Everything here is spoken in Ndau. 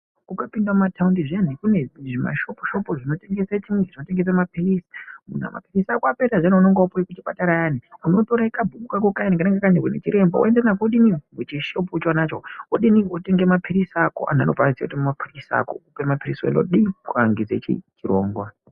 Ukapinde mumathaundi zviyani mune zvishopu shopu zvinotengesa maphirizi. Munhu kana mapirizi apera zviyani aunenge wakapuwa kuchipatara ayani unotora kachibhuku kayani kaanenge kakanyorwa nachiremba woenda nako muchishopu chonacho wotenga maphirizi ako vokupa maphirizi ako kuhambise chirongwa.